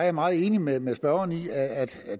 er meget enig med med spørgeren i at